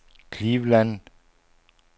Cleveland